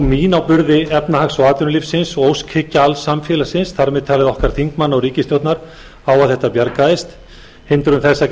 mín á burði efnahags og atvinnulífsins og óskhyggja alls samfélagsins þar með talið okkar þingmanna og ríkisstjórnar á að þetta bjargaðist hindrun þess að